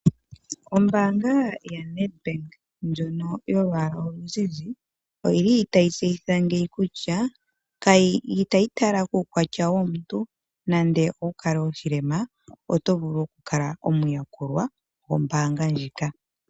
Ombaanga yaNedbank ndjono yolwaala oluzizi, oyili tayi tseyitha ngeyi kutya itayi tala kuukwatya womuntu, nande owukale oshilema oto vulu okukala omuyakulwa gwombaanga ndjika.